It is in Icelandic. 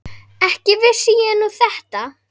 Ekki vissi ég nú þetta.